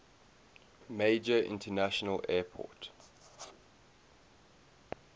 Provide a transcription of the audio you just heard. major international airport